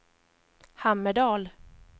Hammerdal